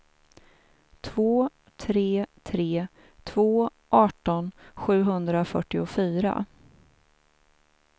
två tre tre två arton sjuhundrafyrtiofyra